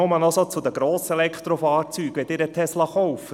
Nur noch zu den Grosselektrofahrzeugen: Wenn Sie einen Tesla kaufen: